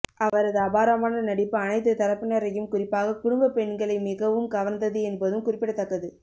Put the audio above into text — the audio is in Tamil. அவரது அபாரமான நடிப்பு அனைத்து தரப்பினரையும் குறிப்பாக குடும்பப் பெண்களை மிகவும் கவர்ந்தது என்பதும் குறிப்பிடத்தக்கது